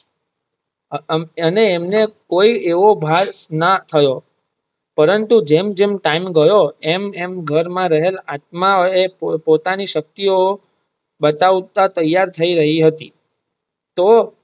અને એમને કોઈ એવો ભાષ ના થયો પરંતુ જેમ~જેમ ટાઈમ ગયો એમ~એમ ઘર માં રહેલ આત્મા ઓ પોતાની શક્તિ ઓ બતાવતા તૈયાર થઇ રહીયી હતી તેઓ.